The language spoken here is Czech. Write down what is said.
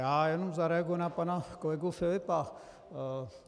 Já jenom zareaguji na pana kolegu Filipa.